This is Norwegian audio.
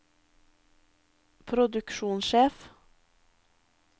produksjonssjef